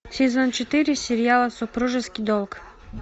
сезон четыре сериала супружеский долг